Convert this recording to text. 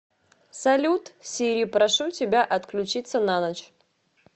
салют сири прошу тебя отключиться на ночь